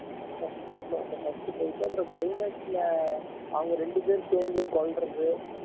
first half ல வந்த first fight அப்புறம் climax ல அவங்க ரெண்டு பேர் சேர்ந்து கொல்றது